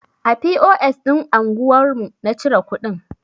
A POS ɗin anguwar mu na cire kuɗin.